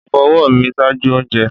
Mo fo ọwọ mi ṣaaju ounjẹ